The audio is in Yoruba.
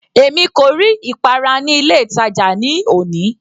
Èmi kò rí ìpara ní ilé ìtàjà ní òní.